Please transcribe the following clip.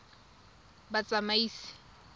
batsamaisi